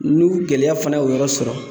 N'i gɛlɛya fana y'o yɔrɔ sɔrɔ